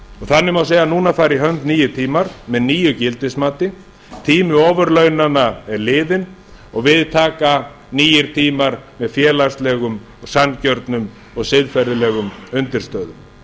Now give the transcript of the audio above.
þannig má segja að núna fari í hönd nýir tímar með nýju gildismati tími ofurlaunanna er liðinn og við taka nýir tímar með félagslegum og sanngjörnum og siðferðilegum undirstöðum